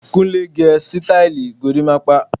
Kúnlẹ́ gé sítáílì gorimapa.